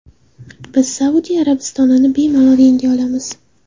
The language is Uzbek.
Biz Saudiya Arabistonini bemalol yenga olamiz.